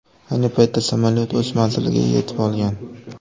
Ayni paytda samolyot o‘z manziliga yetib olgan.